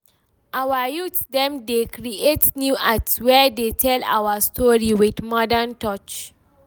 Our youth dem dey create new art wey dey tell our story, wit modern touch.